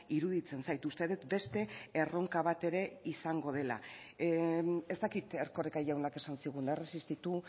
iruditzen zait uste dut beste erronka bat ere izango dela ez dakit erkoreka jaunak esan zigun erresistitu